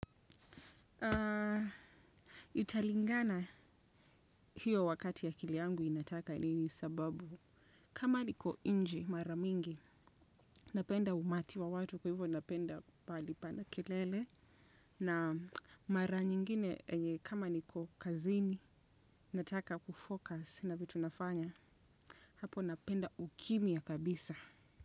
Italingana hiyo wakati akili yangu inataka nini sababu kama niko inje mara mingi, napenda umati wa watu kwa hivyo napenda palipo na kelele. Na mara nyingine kama niko kazini, nataka kufocus na vitu nafanya. Hapo napenda ukimya kabisa.